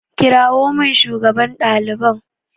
Kirawo min shugaban ɗaliban!